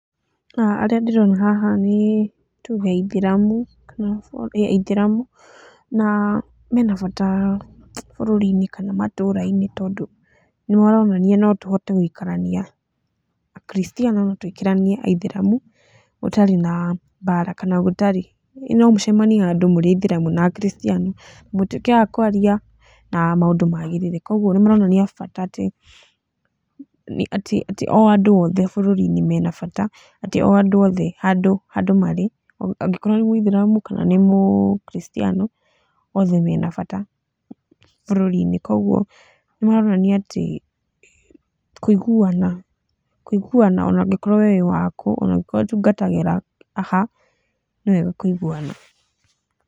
Arĩa ndĩrona haha nĩ tuge aithĩramu, aithĩramu, na mena bata bũrũri-inĩ kana matũũra-inĩ tondũ, nĩ maronania no tũhote gũikarania, akiristiano, na tũikaranie aithĩramu gũtarĩ na mbaara kana gũtarĩ. No mũcemanie handũ mũrĩ aithĩramu na akiristiano, mũtuĩke a kwarĩa na maũndũ magĩrĩre. Kũguo nĩ maronania bata atĩ atĩ atĩ o andũ othe bũrũri-inĩ mena bata. Atĩ o andũ othe handũ handũ marĩ, angĩkorwo nĩ mũithĩramu, kana nĩ mũkiristiano, othe metha bata bũrũri-inĩ. Koguo nĩ maronania atĩ kũiguana, kũiguana ona angĩkorwo we wĩ wa kũ, ona angĩkorwo ũtungatagĩra na ha, nĩ wega kũiguana.